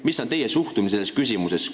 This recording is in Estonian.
Milline on teie suhtumine selles küsimuses?